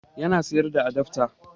Yana siyar da adafta